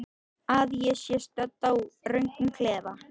Að ég sé stödd í röngum klefa?